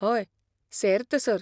हय, सेर्त, सर.